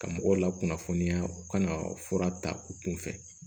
Ka mɔgɔw lakunnafoniya ka na fura ta u kun fɛ